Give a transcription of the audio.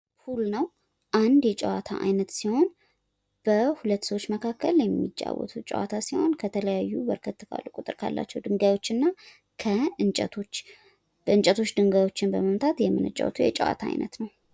ፑል ነው ።አንድ የጨዋታ አይነት ሲሆን በሁለት ሰዎች መካከል የሚጫወቱት ጨዋታ ሲሆን ከተለያዩ በርከት ካሉ ቁጥር ካላቸው ድንጋዮች እና ከእንጨቶች በእንጨቶች ድንጋዮችን በመምታት የምንጫወተው የጨዋታ አይነት ነው።